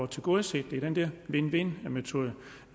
tilgodeset med den der win win metode